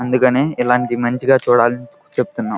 అందుకని ఇలాంటి మంచిగా చూడాలని చెపుతున్న.